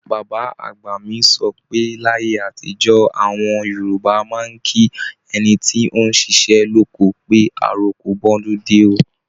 Bàbá-àgbà mi sọ pé láyé àtijó, àwọn Yorùbá máa ń kí ẹni tóún ṣiṣẹ́ lóko pé "àroko bọ́dúndé o"